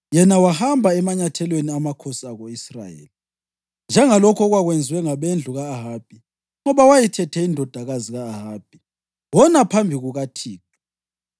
Yena wahamba emanyathelweni amakhosi ako-Israyeli, njengalokhu okwakwenziwe ngabendlu ka-Ahabi, ngoba wayethethe indodakazi ka-Ahabi. Wona phambi kukaThixo.